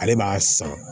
Ale b'a san